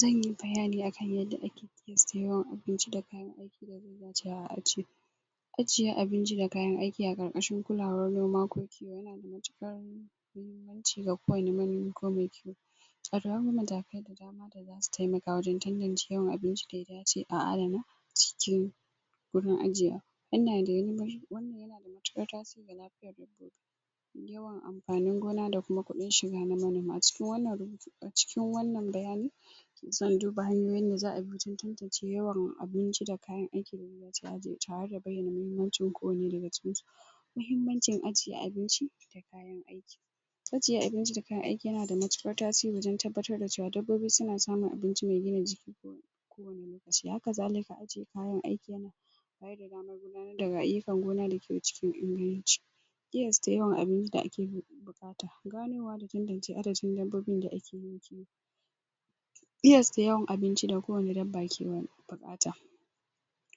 zanyi bayani akan yadda ake siyan abinci da kayan aiki da yakamata a ci ajiye abinci da kayan aiki a ƙarƙashin kulawar noma ko kiwo yana da muhimmanci? ga kowani manomi ko mai kiwo akwai wasu matakai da dama da zasu taimaka wajen tantance yawan abinci da yakamata a adana cikin wurin ajiye? wannan yana da matuƙat tasiri ga lafiyar manomi yawan ampanin gona da kuma kuɗin shiga na manoma cikin wannan a cikin wannan bayanin zan duba hanyoyin da za'a bi wajen tantance yawan abinci da kayan aikin da za'a aje tare da bayyana mahimmancin kowanne daga cikinsu mahimmancin ajiye abinci da kayan aiki ajiye abinci da kayan aiki yana da matuƙar tasiri wajen tabbatar da cewa dabbobi suna samun abinci mai gina jiki haka zalika ajiye kayan aiki yana bayar da damar gudanar da ayyukan gona da kiwo cikin inganci ƙiyasta yawan abinci da ake buƙata ganowa da tantance adadin dabbobin da ake yin kiwo ƙiyasta yawan abinci da kowani dabba ke buƙata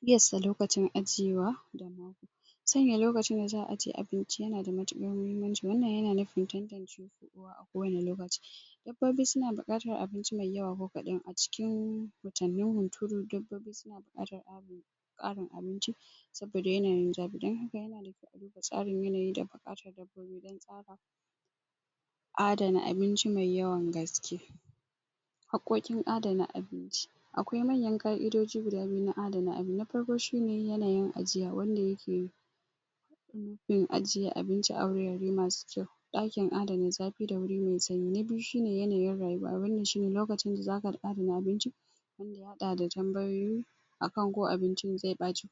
ƙiyasta lokacin ajiyewa sanya lokacin da za'a ajiye abinci yana da matuƙar mahimmanci wannan yana nufin tantancewa a kowani lokaci dabbobi suna buƙatan abinci mai yawa ko kaɗan a cikin watannin hunturu dabbobi suna buƙatar ƙarin abinci saboda yanayin zafi din haka tsarin yanayi da buƙatar dabbobi don tsara adana abinci mai yawan gaske haƙƙoƙin adana abinci akwai manyan ƙa'idoji guda biyu na adana abinci na farko shine yanayin ajiya wanda yake yin ajiye abinci a wurare masu kyau ɗakin adana zafi da wuri mai sanyi na biyu shine yanayin rayuwa wannan shine lokacin da zaka adana abincin ka haɗa da tambayoyi akan ko abincin zai ɓaci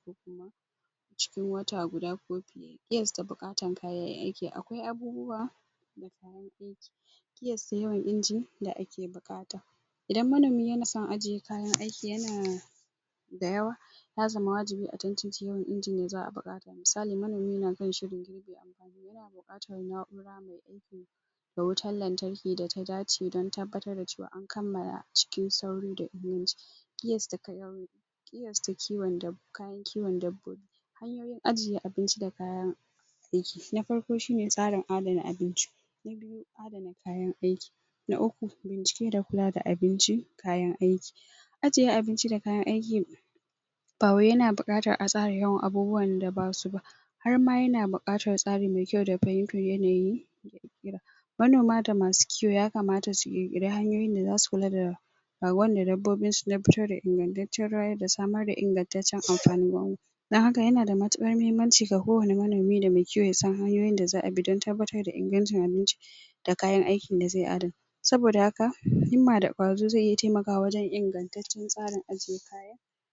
cikin wata guda ko fiye ƙiyasta buƙatan kayan aiki akwai abubuwa ƙiyasta yawan inji da ake buƙata idan manomi yana son ajiye kayan aiki yana dayawa ya zama wajibi a tantance yawan injin da za'a buƙata misali manomi na kan shiri yana buƙatar na'ura mai aiki da wutan lantarki da ta dace don tabbatar da cewa an kammala cikin sauri da inganci ƙiyasta kayan ƙiyasta kiwon kayan kiwon dabbobi hanyoyin ajiye abinci da kayan aiki na farko shine tsarin adana abinci na biyu adana kayan aiki bincike da kula da abinci kayan aiki ajiye abinci da kayan aiki ba wai yana buƙatar a tsara yawan abubuwan da basu ba har ma yana buƙatar tsari mai kyau da fahimtar yanayi? manoma da masu kiwo yakamata su ƙirƙira hanyoyin da zasu kula da rayuwar dabbobin su don fitar da ingantaccen rayar da samar da ingantaccen ampanin don haka yana da matuƙar mahimmanci ga kowani manomi da mai kiwo yasan hanyoyin da za'a bi don tabbatar da ingancin abinci da kayan aikin da zai adana saboda haka himma da ƙwazo zai iya taimakawa wajen ingantaccen tsarin ajiye